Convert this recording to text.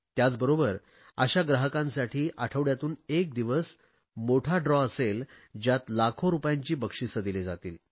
त्याचबरोबर अशा ग्राहकांसाठी आठवडयातून एक दिवस मोठी सोडत असेल ज्यात लाखो रुपयांची बक्षिसे दिली जातील